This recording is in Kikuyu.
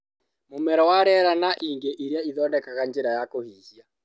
Mũmero wa rĩera, na ingĩ iria ithondekaga njĩra ya kũhihia